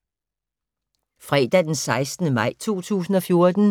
Fredag d. 16. maj 2014